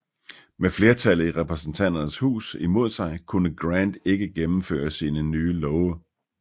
Med flertallet i Repræsentanternes Hus imod sig kunne Grant ikke gennemføre nye love